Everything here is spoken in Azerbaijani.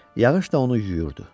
Yağış da onu yuyurdu.